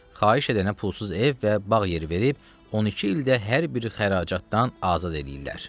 Xahiş edənə pulsuz ev və bağ yeri verib, 12 ildə hər bir xəracatdan azad eləyirlər.